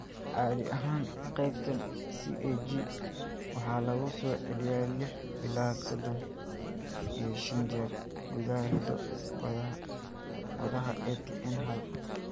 Caadi ahaan, qaybtan CAG waxaa lagu soo celiyaa lix ilaa sodan iyo shan jeer gudaha hiddo-wadaha ATN hal.